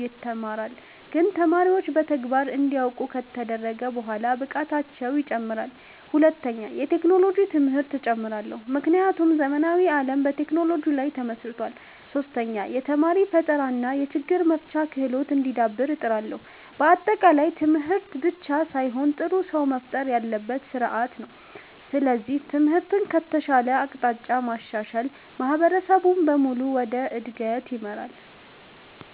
ይተማራል፣ ግን ተማሪዎች በተግባር እንዲያውቁ ከተደረገ በኋላ ብቃታቸው ይጨምራል። ሁለተኛ፣ የቴክኖሎጂ ትምህርት እጨምራለሁ፣ ምክንያቱም ዘመናዊ ዓለም በቴክኖሎጂ ላይ ተመስርቷል። ሶስተኛ፣ የተማሪ ፈጠራ እና የችግር መፍታት ክህሎት እንዲዳብር እጥራለሁ። በአጠቃላይ ትምህርት ብቻ ሳይሆን ጥሩ ሰው መፍጠር ያለበት ስርዓት ነው። ስለዚህ ትምህርትን ከተሻለ አቅጣጫ ማሻሻል ማህበረሰብን በሙሉ ወደ እድገት ይመራል።